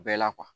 Bɛɛ la